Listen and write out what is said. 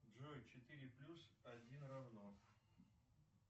джой четыре плюс один равно